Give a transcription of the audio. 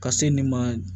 Ka se nin ma